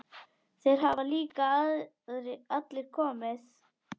Þeir hafa líka allir komið.